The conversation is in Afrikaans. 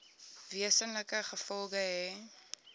wesenlike gevolge hê